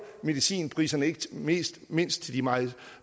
medicinpriserne ikke mindst mindst til de meget